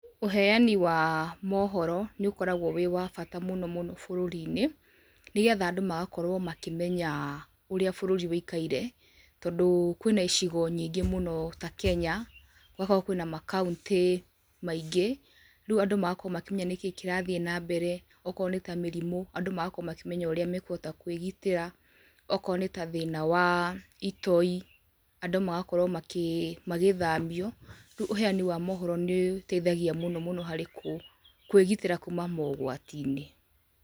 Ũheani wa mohoro nĩ ũkoragwo wĩ wa bata mũno, mũno, bũrũri-inĩ, nĩgetha andũ magakorwo makĩmenya ũrĩa bũrũri wĩikaire, tondũ kwĩna icigo nyingĩ mũno ta Kenya, gũgakorwo kwĩna makauntĩ maingĩ, rĩu andũ magakorwo makĩmenya nĩkĩ kĩrathiĩ na mbere, okorwo nĩta mĩrimũ, andũ magakorwo makĩmenya ũrĩa mekũhota kwĩgitĩra, okorwo nĩ ta thĩna wa itoi, andũ magakorwo makĩ magĩthamio, rĩu ũheani wa mohoro nĩ ũtethagia mũno mũno, harĩ kũ kwĩgitĩgĩra kuma mogwati-inĩ.